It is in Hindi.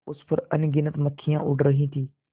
उस पर अनगिनत मक्खियाँ उड़ रही थीं